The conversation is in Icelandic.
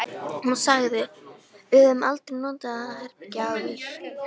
Hún sagði: Við höfum aldrei notað það herbergi áður